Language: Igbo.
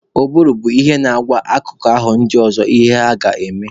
Ụbụrụ bụ ihe na-agwa akụkụ ahụ ndị ọzọ ihe ha ga-eme